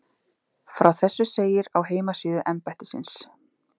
Frá þessu segir á heimasíðu embættisins